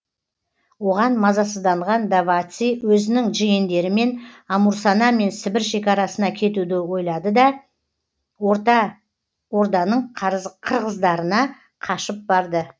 оған мазасызданған даваци өзінің жиендерімен амурсана мен сібір шекарасына кетуді ойлады да орта орданың қырғыздарына қашып барды